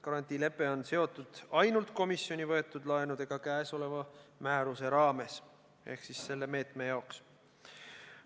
Garantiilepe on seotud ainult komisjoni võetud laenudega käesoleva määruse raames ehk selle meetme jaoks.